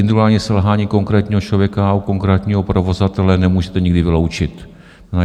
Individuální selhání konkrétního člověka u konkrétního provozovatele nemůžete nikdy vyloučit.